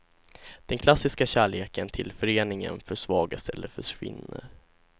Den klassiska kärleken till föreningen försvagas eller försvinner.